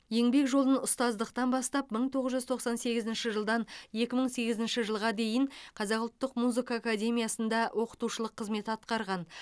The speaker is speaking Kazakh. еңбек жолын ұстаздықтан бастап мың тоғыз жүз тоқсан сегізінші жылдан екі мың сегізінші жылға дейін қазақ ұлттық музыка академиясында оқытушылық қызмет атқарған